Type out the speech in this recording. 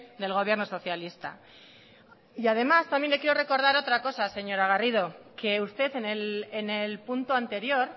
del gobierno socialista y además también le quiero recordar otra cosa señora garrido que usted en el punto anterior